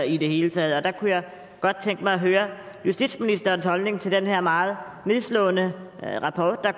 i det hele taget jeg kunne godt tænke mig at høre justitsministerens holdning til den her meget nedslående rapport der